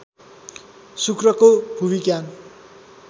शुक्रको भूविज्ञान